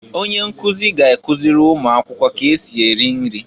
Onye nkụzị ga-akụzị ụmụakwụkwọ k'esị eri nri.